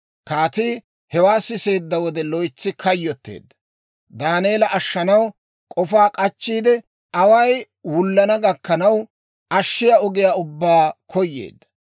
Kaatii hewaa siseedda wode loytsi kayyotteedda; Daaneela ashshanaw k'ofaa k'achchiide, away wullana gakkanaw, ashshiyaa ogiyaa ubbaa koyeedda.